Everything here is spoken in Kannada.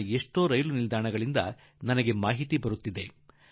ಭಾರತದ ಅನೇಕ ರೈಲ್ವೇ ನಿಲ್ದಾಣಗಳಿಂದ ಈ ದಿನಗಳಲ್ಲಿ ಸುದ್ದಿ ಬರುತ್ತಿದೆ